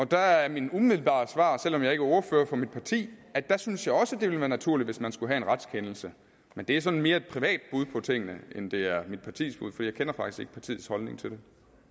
der er mit umiddelbare svar selv om jeg ikke er ordfører for mit parti at der synes jeg også at det ville være naturligt at man skulle have en retskendelse men det er sådan mere et privat bud på tingene end det er mit partis bud for jeg kender faktisk ikke partiets holdning til det